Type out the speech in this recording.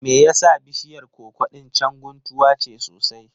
Me yasa bishiyar koko ɗin can guntuwa ce sosai?